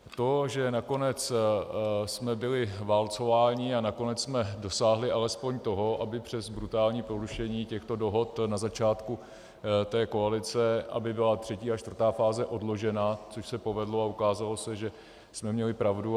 To, že nakonec jsme byli válcováni a nakonec jsme dosáhli alespoň toho, aby přes brutální porušení těchto dohod na začátku té koalice, aby byla třetí a čtvrtá fáze odložena, což se povedlo, a ukázalo se, že jsme měli pravdu.